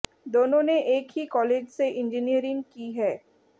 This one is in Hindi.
दोनों ने एक ही कॉलेज से इंजीनियरिंग की है